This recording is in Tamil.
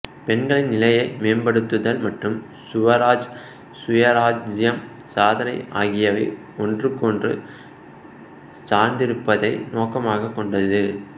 பெண்களின் நிலையை மேம்படுத்துதல் மற்றும் சுவராஜ் சுயராஜ்யம் சாதனை ஆகியவை ஒன்றுக்கொன்று சார்ந்திருப்பதை நோக்கமாகக் கொண்டது